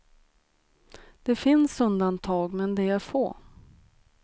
Det finns undantag, men de är få.